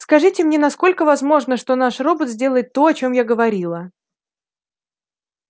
скажите мне насколько возможно что наш робот сделает то о чем я говорила